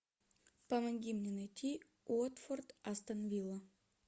помоги мне найти уотфорд астон вилла